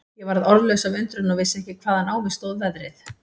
Ég varð orðlaus af undrun og vissi ekki hvaðan á mig stóð veðrið.